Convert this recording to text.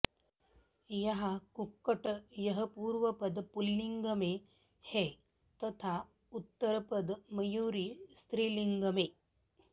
यहाँ कुक्कट यह पूर्व पद पुँल्लिंग में है तथा उत्तर पद मयूरी स्त्रीलिंग में